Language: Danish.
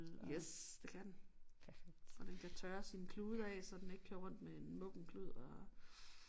Yes det kan den og den kan tørre sine klude af så den ikke kører rundt med en muggen klud og